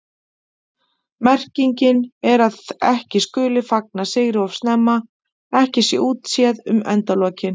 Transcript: Merkingin er að ekki skuli fagna sigri of snemma, ekki sé útséð um endalokin.